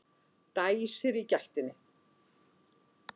Dæsir í gættinni.